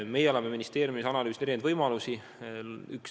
Meie oleme ministeeriumis analüüsinud erinevaid võimalusi.